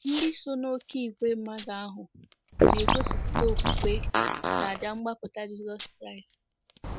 Ndị so n'oké ìgwè mmadụ ahụ na-egosipụta okwukwe n'àjà mgbapụta Jizọs Kraịst.